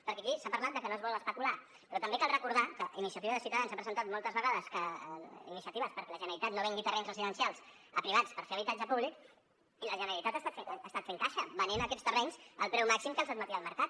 perquè aquí s’ha parlat de que no es vol especular però també cal recordar que a iniciativa de ciutadans s’ha presentat moltes vegades iniciatives perquè la generalitat no vengui terrenys residencials a privats per fer habitatge públic i la generalitat ha estat fent caixa venent aquests terrenys al preu màxim que els admetia el mercat